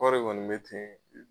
Kɔɔri kɔni bɛ ten.